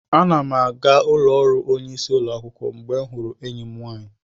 Ana m aga ụlọ ọrụ onyeisi ụlọ akwụkwọ mgbe m hụrụ enyi m nwaanyị.